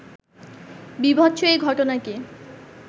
বীভৎস এই ঘটনাটি